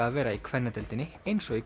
að vera í kvennadeildinni eins og í